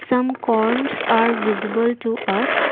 some corns are visible to us.